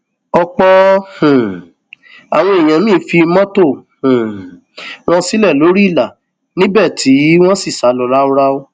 ọpọ um àwọn èèyàn míín fi mọtò um wọn sílẹ lórí ìlà níbẹ tí wọn sì sá lọ ráúráú